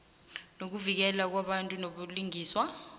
nokuvikeleka kwabantu nobulungiswa